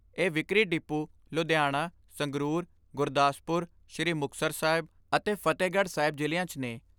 ਇਹ ਵਿਕਰੀ ਡਿਪੂ ਲੁਧਿਆਣਾ, ਸੰਗਰੂਰ, ਗੁਰਦਾਸਪੁਰ, ਸ੍ਰੀ ਮੁਕਤਸਰ ਸਾਹਿਬ ਅਤੇ ਫਤਹਿਗੜ੍ਹ ਸਾਹਿਬ ਜ਼ਿਲ੍ਹਿਆਂ 'ਚ ਨੇ।